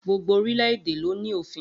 Gbogbo orílẹ̀-èdè ló ní òfin